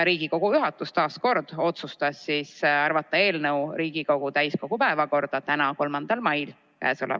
Riigikogu juhatus otsustas arvata eelnõu täiskogu tänase ehk 3. mai istungi päevakorda.